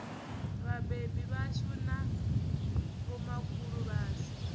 vhabebi vhashu na vhomakhulu washu